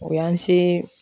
O y'an se